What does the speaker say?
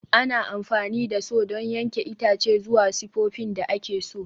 Ana amfani da Saw don yanke itace zuwa sifofin da ake so.